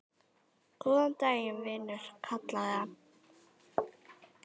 Góðan daginn, vinur kallaði hann.